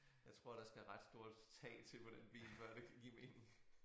Jeg tror der skal ret stort tag på den bil før det kan give mening